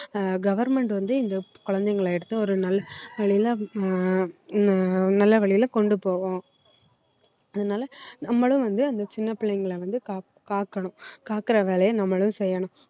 ஆஹ் government வந்து இந்த குழந்தைங்களை எடுத்து ஒரு நல்ல வழியில ஆஹ் ந~ நல்ல வழியில கொண்டு போவோம் அதனால நம்மளும் வந்து அந்த சின்ன பிள்ளைங்களை வந்து காக்~ காக்கணும் காக்கிற வேலையை நம்மளும் செய்யணும்